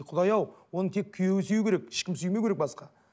құдай ау оны тек күйеуі сүю керек ешкім сүймеу керек басқа